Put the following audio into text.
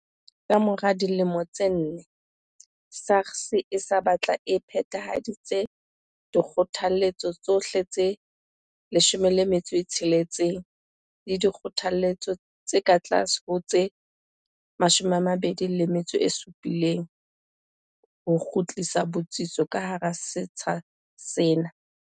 Ka mora dilemo tse nne, SARS e se batla e phethahaditse dikgothaletso tsohle tse 16 le dikgothaletso tse ka tlase ho tseo tse 27 ho kgutlisa botsitso ka hara setsha sena.